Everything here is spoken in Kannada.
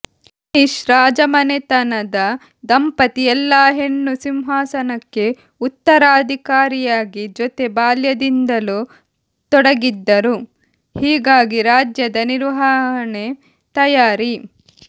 ಸ್ಪ್ಯಾನಿಷ್ ರಾಜಮನೆತನದ ದಂಪತಿ ಎಲ್ಲಾ ಹೆಣ್ಣು ಸಿಂಹಾಸನಕ್ಕೆ ಉತ್ತರಾಧಿಕಾರಿಯಾಗಿ ಜೊತೆ ಬಾಲ್ಯದಿಂದಲೂ ತೊಡಗಿದ್ದರು ಹೀಗಾಗಿ ರಾಜ್ಯದ ನಿರ್ವಹಣೆ ತಯಾರಿ